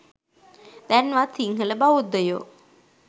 දැන්වත් සිංහල බෞද්ධයෝ